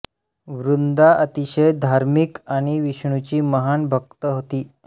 वृंदा अतिशय धार्मिक आणि विष्णूची महान भक्त होती